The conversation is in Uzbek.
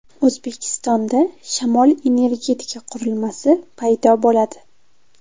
O‘zbekistonda shamol-energetika qurilmasi paydo bo‘ladi.